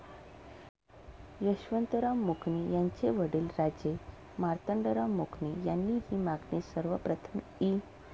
यशवंतराव मुकणे यांचे वडील राजे मार्तंडराव मुकणे यांनी हि मागणी सर्वप्रथम इ.